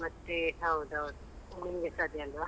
ಮತ್ತೆ ಹೌದು ಹೌದು ನಿಮ್ಗೆಸಾ ಅದೇ ಅಲ್ವಾ.